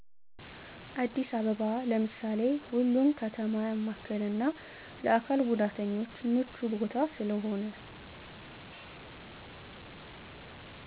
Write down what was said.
አዲስ አበባ ለምሳሌ ሁሉን ከተማ ያማከለና ለአካል ጉዳተኞች ምቹ ቦታ ስለሆነ